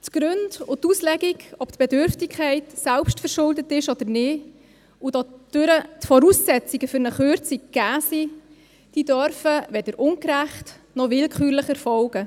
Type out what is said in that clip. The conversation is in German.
Die Gründe und die Auslegung, ob die Bedürftigkeit selbstverschuldet ist oder nicht, wodurch die Voraussetzungen für eine Kürzung gegeben sind oder nicht, dürfen weder ungerecht noch willkürlich erfolgen.